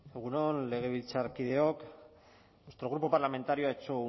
egun on legebiltzarkideok nuestro grupo parlamentario ha hecho